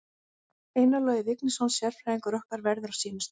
Einar Logi Vignisson sérfræðingur okkar verður á sínum stað.